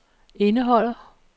indeholder